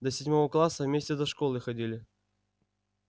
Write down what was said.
до седьмого класса вместе до школы ходили